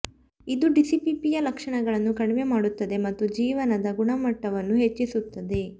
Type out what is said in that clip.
ಇದು ಡಿಸ್ಪಿಪ್ಸಿಯಾ ಲಕ್ಷಣಗಳನ್ನು ಕಡಿಮೆ ಮಾಡುತ್ತದೆ ಮತ್ತು ಜೀವನದ ಗುಣಮಟ್ಟವನ್ನು ಹೆಚ್ಚಿಸುತ್ತದೆ